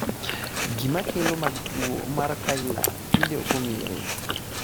gimakelo mag tuo mar Kyrle tinde ok ong'ere